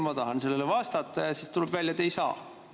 Ma tahan sellele vastata, aga siis tuleb välja, et ei saa.